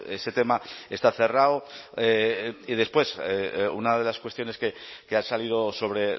ese tema está cerrado y después una de las cuestiones que ha salido sobre